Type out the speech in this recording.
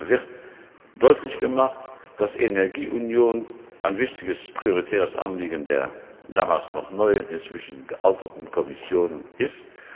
wird deutlich gemacht, dass die Energieunion ein wichtiges prioritäres Anliegen der damals noch neuen, inzwischen gealterten Kommission ist.